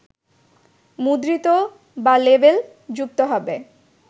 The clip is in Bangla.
মুদ্রিত বা লেবেল যুক্ত হবে